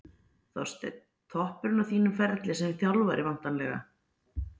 Þorsteinn: Toppurinn á þínum ferli sem þjálfari væntanlega?